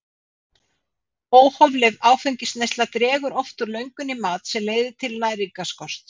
Óhófleg áfengisneysla dregur oft úr löngun í mat sem leiðir til næringarskorts.